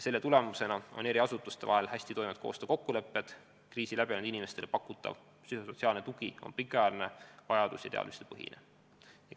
Selle tulemusena on eri asutuste vahel hästitoimivad koostöökokkulepped, kriisi läbi teinud inimestele pakutav psühhosotsiaalne tugi on pikaajaline, vajadus- ja teadmistepõhine.